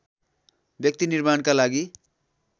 व्यक्ति निर्माणका लागि